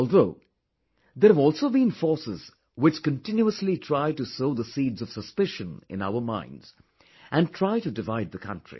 Although, there have also been forces which continuously try to sow the seeds of suspicion in our minds, and try to divide the country